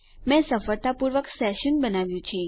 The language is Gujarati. મેં સફળતાપૂર્વક મારું સેશન બનાવ્યું છે